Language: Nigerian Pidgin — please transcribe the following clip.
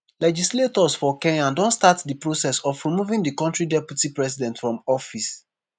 legislators for kenya don start di process of removing di kontri deputy president from office.